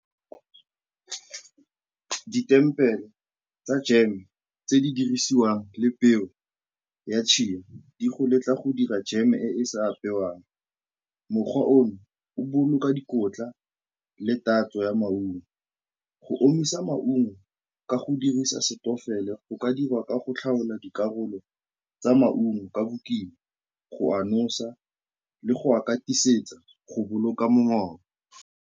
Ditempele tsa jeme tse di dirisiwang le peo ya di go letla go dira jam-e e e sa apewang. Mokgwa ono o boloka dikotla le tatso ya maungo. Go omisa maungo ka go dirisa go ka dirwa ka go tlhaola dikarolo tsa maungo ka bokima, go a nosa le go a katisetsa go boloka mongobo.